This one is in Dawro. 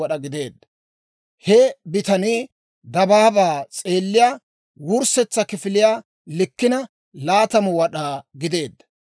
He bitanii dabaabaa s'eelliyaa wurssetsa kifiliyaa likkina 20 wad'aa gideedda.